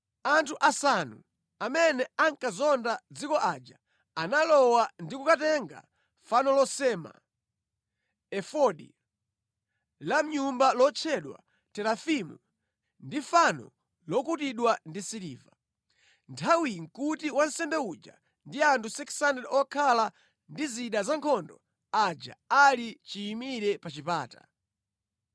Anthu asanu amene anakazonda dziko aja analowa ndi kukatenga fano losema, efodi, fano la mʼnyumba lotchedwa terafimu, ndi fano lokutidwa ndi siliva. Nthawiyi nʼkuti wansembe uja ndi anthu 600 okhala ndi zida za nkhondo aja ali chiyimire pa chipata.